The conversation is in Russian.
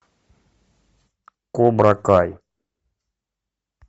кобра кай